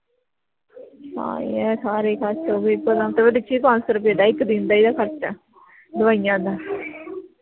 ਸਾਰੇ ਭਲਾਂ ਪੰਜ ਸੋ ਰੁਪਏ ਦਾ ਇੱਕ ਦਿਨ ਦਾ ਇਹਦਾ ਖਰਚਾ ਦਵਾਈਆਂ ਦਾ